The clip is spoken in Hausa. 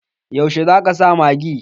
Yaushe zaka sa magi?